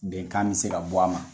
Bɛnkan bɛ se ka bɔ a ma